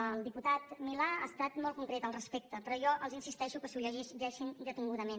el diputat milà ha estat molt concret respecte a això però jo els insisteixo que s’ho llegeixin detingudament